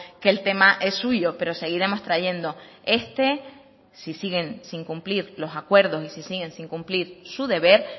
que el tema es suyo pero seguiremos trayendo este si siguen sin cumplir los acuerdos y si siguen sin cumplir su deber